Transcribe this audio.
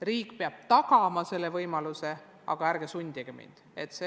Riik peab tagama selle võimaluse, aga pole vaja sundida.